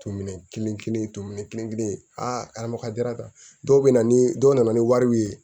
To minɛn kelen kelen kelen adamadenya ta dɔw bɛ na ni dɔw nana ni wariw ye